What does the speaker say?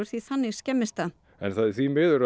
því þannig skemmist það en því miður